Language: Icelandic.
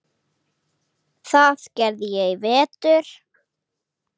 Það gerði ég í vetur.